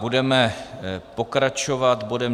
Budeme pokračovat bodem